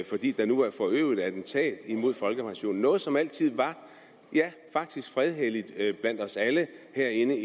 fordi der nu er forøvet et attentat mod folkepensionen noget som altid var ja faktisk fredhelligt blandt os alle herinde